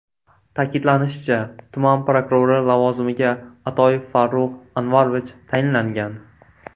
Ta’kidlanishicha, tuman prokurori lavozimiga Atoyev Farruh Anvarovich tayinlangan.